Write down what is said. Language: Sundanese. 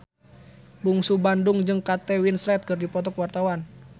Bungsu Bandung jeung Kate Winslet keur dipoto ku wartawan